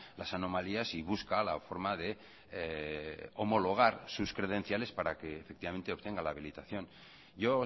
las anomalías y busca la forma de homologar sus credenciales para que efectivamente obtenga la habilitación yo